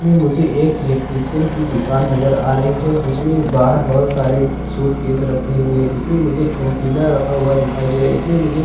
इसमें मुझे एक इलेक्ट्रिशियन का दुकान दिखाई दे रहा है। जिसमें बाहर बहुत सारे सूट किसे रके हुए। इसमें मुझे टीना राका दिखाई दे रहा है। इसमें मुझे--